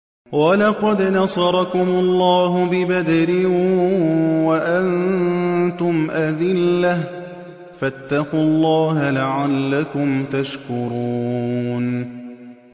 وَلَقَدْ نَصَرَكُمُ اللَّهُ بِبَدْرٍ وَأَنتُمْ أَذِلَّةٌ ۖ فَاتَّقُوا اللَّهَ لَعَلَّكُمْ تَشْكُرُونَ